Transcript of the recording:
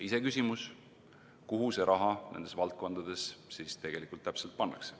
Iseküsimus, kuhu see raha nendes valdkondades tegelikult täpselt pannakse.